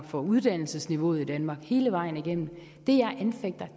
for uddannelsesniveauet i danmark hele vejen igennem det jeg anfægter